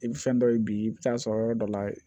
I bɛ fɛn dɔ ye bi i bɛ taa sɔrɔ yɔrɔ dɔ la